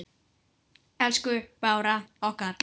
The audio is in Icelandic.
Elsku Bára okkar.